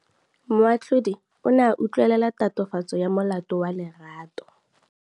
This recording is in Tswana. Moatlhodi o ne a utlwelela tatofatsô ya molato wa Lerato.